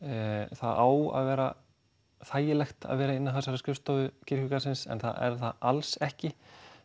það á að vera þægilegt að vera inni á þessari skrifstofu kirkjugarðsins en það er það alls ekki